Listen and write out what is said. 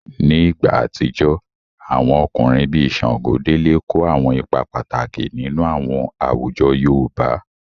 Ní ìgbà àtijọ́, àwọn ọkùnrin bíi Ṣàngódélé kó àwọn ipa pàtàkì nínú àwọn àwùjọ yoòbá